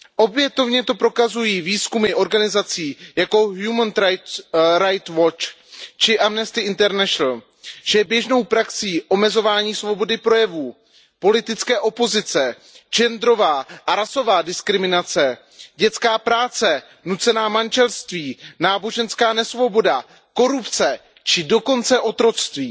Opětovně to prokazují výzkumy organizací jako Human Right Watch či Amnesty International že je běžnou praxí omezování svobody projevu politické opozice, genderová a rasová diskriminace, dětská práce, nucená manželství, náboženská nesvoboda, korupce či dokonce otroctví.